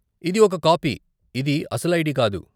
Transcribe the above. ఇది ఒక కాపీ, ఇది అసలు ఐడి కాదు.